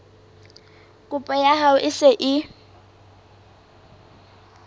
kopo ya hao e se